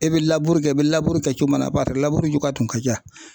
E bɛ kɛ i bɛ kɛ cogo min na barisa cogoya tun ka ca.